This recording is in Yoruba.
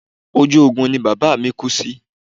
Ojú ogun ni bàbá mi kú sí